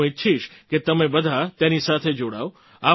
હું ઈચ્છીશ કે તમે બધાં તેની સાથે જોડાવ